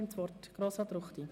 Das Wort hat Grossrat Ruchti.